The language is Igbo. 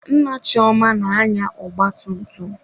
Nna Chioma na-anya ọgba tum tum.